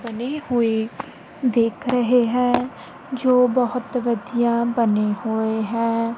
ਬਣੇ ਹੋਏ ਦੇਖ ਰਹੇ ਹੈ ਜੋ ਬਹੁਤ ਵਧੀਆ ਬਣੇ ਹੋਏ ਹੈਂ।